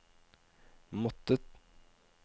måttet